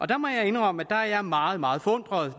der må jeg indrømme at jeg er meget meget forundret